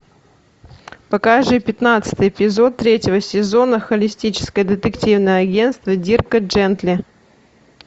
покажи пятнадцатый эпизод третьего сезона холистическое детективное агентство дирка джентли